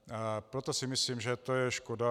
Proto si myslím, že to je škoda.